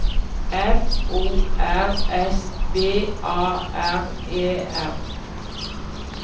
F O R S V A R E R